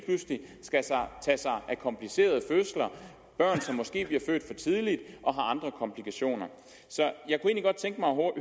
pludselig skal tage sig af komplicerede fødsler og børn som måske bliver født for tidligt og har andre komplikationer så